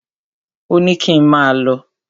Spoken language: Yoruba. Ò ní kín máà lọ.